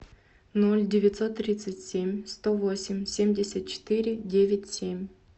ноль девятьсот тридцать семь сто восемь семьдесят четыре девять семь